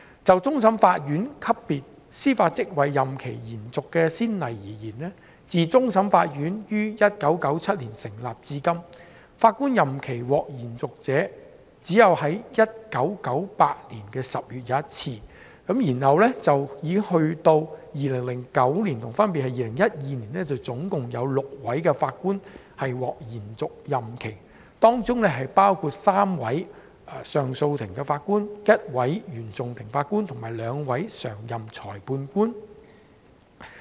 就終審法院級別司法職位任期延續的先例而言，自終審法院於1997年成立至今，法官任期獲延續者只有在1998年10月一次，並且在2009年及2012年，總共有6位法官獲延續任期，當中包括3位上訴法庭法官、一位原訟法庭法官及兩位常任裁判官。